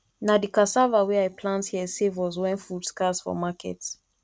na di cassava wey i plant here save us wen food scarce for market